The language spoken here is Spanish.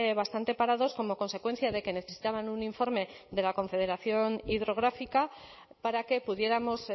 bastante parados como consecuencia de que necesitaban un informe de la confederación hidrográfica para que pudiéramos